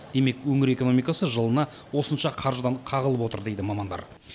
демек өңір экономикасы жылына осынша қаржыдан қағылып отыр дейді мамандар